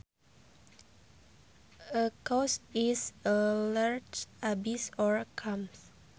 A chaos is a large abyss or chasm